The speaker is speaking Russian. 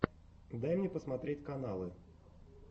дай мне посмотреть каналы